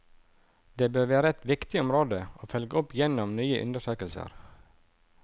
Det bør være et viktig område å følge opp gjennom nye undersøkelser.